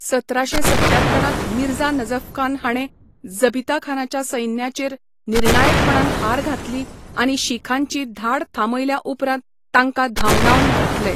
सतराशे सत्त्यात्तरांत मिर्झा नजफखान हाणें जबिताखानाच्या सैन्याचेर निर्णायकपणान हार घातली आनी शीखांची धाड थांबयल्या उपरांत तांकां धांवडावन घातले.